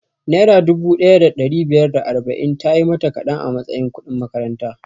Naira dubu ɗaya da ɗari biyar da arba'in tayi mata kaɗan a matsayin kudin makaranta